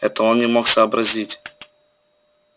этого он не мог сообразить